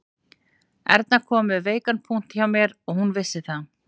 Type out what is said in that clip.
Erna kom við veikan punkt hjá mér og hún vissi það